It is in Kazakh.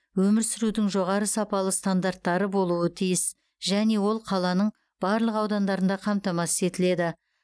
өмір сүрудің жоғары сапалы стандарттары болуы тиіс және ол қаланың барлық аудандарында қамтамасыз етіледі